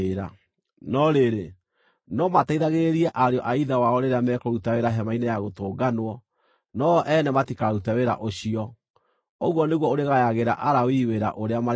No rĩrĩ, no mateithagĩrĩrie ariũ a ithe wao rĩrĩa mekũruta wĩra Hema-inĩ-ya-Gũtũnganwo, no-o ene matikarute wĩra ũcio. Ũguo nĩguo ũrĩgayagĩra Alawii wĩra ũrĩa marĩrutaga.”